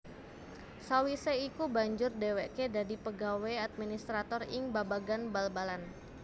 Sawisé iku banjur dhéwéké dadi pegawé administrator ing babagan bal balan